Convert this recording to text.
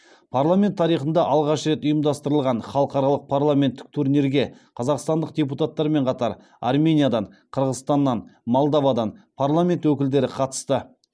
парламент тарихында алғаш рет ұйымдастырылған халықаралық парламенттік турнирге қазақстандық депутаттармен қатар армениядан қырғызстаннан молдовадан парламент өкілдері қатысты